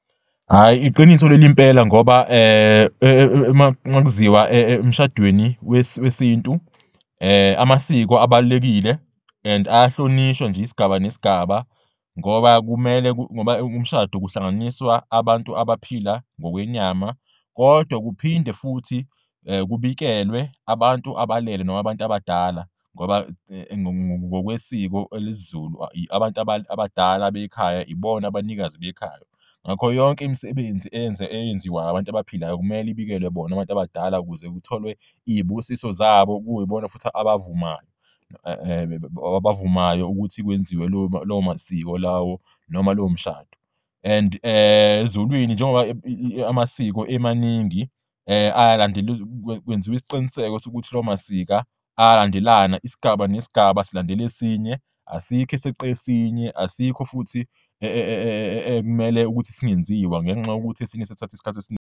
Isigaba nesigaba sibalulekile ngoba esiZulwini kusuke kungahlanganiswa kuphela laba abaphila ngokwenyama kodwa konke okusuke kwenzekwa kusuke kubikelwa nasebelele, abanikazi bekhaya.